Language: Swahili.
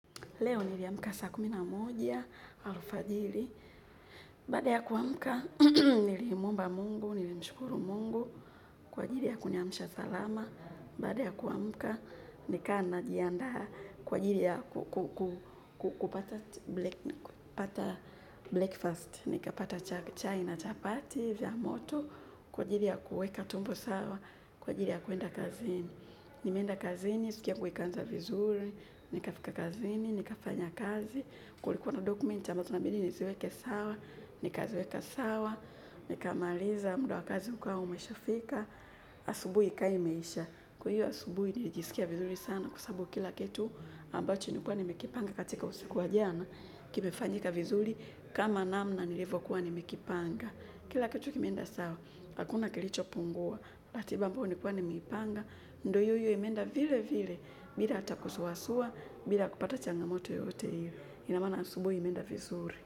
Leo niliamka saa kumi na moja alfajiri baada ya kuamka, niliimuomba Mungu, nilimshukuru Mungu. Kwa ajili ya kuniamsha salama. Baada ya kuamka, nikawa najiandaa kwa ajili ya kupata breakfast. Nikapata chai na chapati, vya moto. Kwa ajili ya kuweka tumbo sawa. Kwa ajili ya kuenda kazini. Nimeenda kazini, siku yangu ikaanza vizuri. Nikafika kazini, nikafanya kazi, kulikuwa na document ambazo inabidi niziweke sawa, nikaziweka sawa, nikamaliza mda wa kazi ukawa umeshafika, asubuhi ka imeisha. Kwa hiyo asubuhi nilijiskia vizuri sana kwa sababu kila kitu ambacho nilikuwa nimekipanga katika usiku wa jana. Kimefanyika vizuri kama namna nilivyokuwa nimekipanga. Kila kitu kimeenda sawa, hakuna kilichopungua. Ratiba ambayo nilikuwa nimeipanga, ndio iyo iyo imeenda vile vile, bila hata kusuwasua, bila kupata changamoto yoyote ile. Ina maana asubuhi imeenda vizuri.